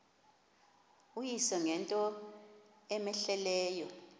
uyise ngento cmehleleyo